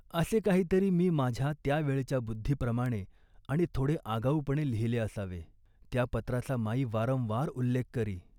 " असे काहीतरी मी माझ्या त्या वेळच्या बुद्धीप्रमाणे आणि थोडे आगाऊपणे लिहिले असावे. त्या पत्राचा माई वारंवार उल्लेख करी